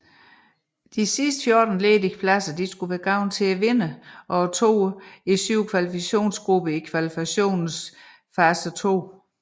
De resterende 14 ledige pladser skulle være gået til vinderne og toerne i syv kvalifikationsgrupper i kvalifikationens fase 2